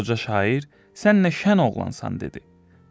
Qoca şair, sən nə şən oğlansan dedi.